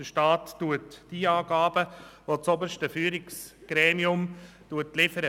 Der Staat prüft die Angaben, die das oberste Führungsgremium liefert.